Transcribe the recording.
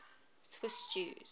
swiss jews